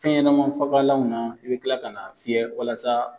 Fɛn ɲɛnama fagalanw na, i be kila ka na fiyɛ walasa